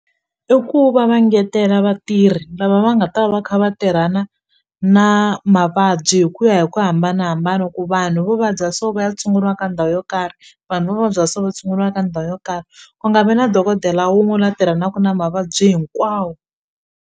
I ku va va ngetela vatirhi lava va nga ta va kha va tirhana na mavabyi hi ku ya hi ku hambanahambana ku vanhu vo vabya so va ya tshunguriwa ka ndhawu yo karhi vanhu vo vabya so va tshunguriwa ka ndhawu yo karhi ku nga vi na dokodela wun'we la tirhanaka na mavabyi hinkwawo.